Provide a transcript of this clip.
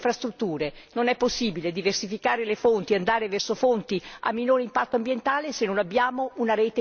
Non è possibile diversificare le fonti, andare verso fonti a minore impatto ambientale se non abbiamo una rete infrastrutturale.